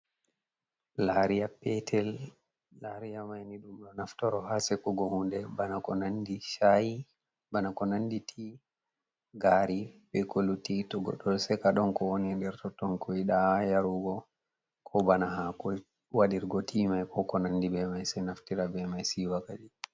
"Lariya petel" lariya maini ɗum do naftoro ha sekugo hunde bana ko nandi sha'i, ti gari be ko lutti to goɗɗo ɗo seka ɗon ko woni der totton kuwida yarugo ko bana ha wadirgo timai ko ko nandi be mai se naftira be mai siwa kadi.